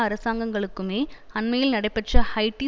அரசாங்கங்களுக்குமே அண்மையில் நடைபெற்ற ஹைட்டி